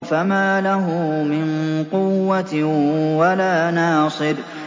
فَمَا لَهُ مِن قُوَّةٍ وَلَا نَاصِرٍ